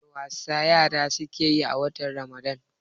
wani wasa yara suke yi a watan ramadan?